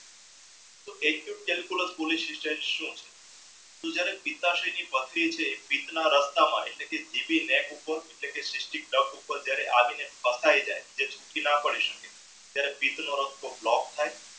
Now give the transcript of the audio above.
તો તું ત્યરેહ રસ્તામાં એટલે કે તે સુખી ના પડી સકે ત્યરેહ રસ્તો block થાઈ